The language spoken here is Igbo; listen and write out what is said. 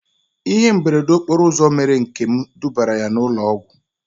Ihe mberede okporo ụzọ mere Nkem dubara ya na ụlọ ọgwụ